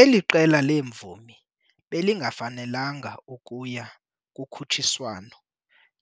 Eli qela leemvumi belingafanelanga kuya kukhutshiswano